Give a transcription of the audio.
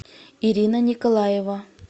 ирина николаева